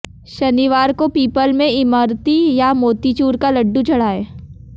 शनिवार को पीपल में इमरती या मोतीचूर का लड्डू चढ़ाएं